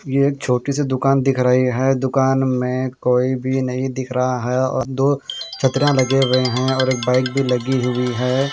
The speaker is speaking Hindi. ये छोटी सी दुकान दिख रही है दुकान में कोई भी नहीं दिख रहा है और दो छत्रियां लगे हुए हैं और बैक भी लगी हुई है।